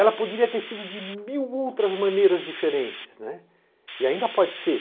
Ela poderia ter sido de mil outras maneiras diferentes, e ainda pode ser.